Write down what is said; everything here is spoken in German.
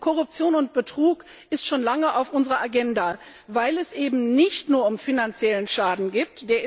Korruption und Betrug sind schon lange auf unserer Agenda, weil es eben nicht nur um finanziellen Schaden geht.